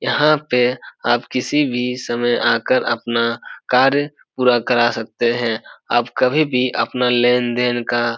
यहां पे आप किसी भी समय आकर अपना कार्य पूरा करा सकते हैं। आप कभी भी अपना लेन-देन का --